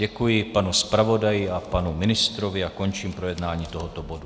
Děkuji panu zpravodaji a panu ministrovi a končím projednávání tohoto bodu.